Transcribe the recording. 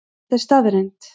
Þetta er staðreynd